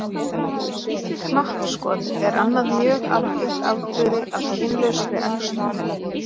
Knappskot er annað mjög algengt afbrigði af kynlausri æxlun.